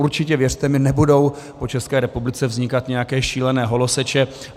Určitě, věřte mi, nebudou po České republice vznikat nějaké šílené holoseče.